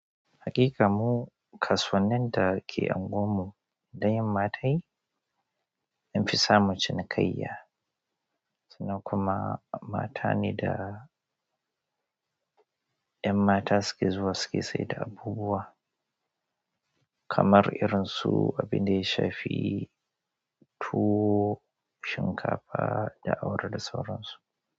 Haƙiƙa mu kasuwannin da ke unguwarmu idan yama tayi, an fi samu cinikayya. Sunnan kuma mata ne da 'yan mata suke zuwa suke saida abubuwa kamar irin su abin da ya shafi tuwo, shinkafa da awara da sauransu.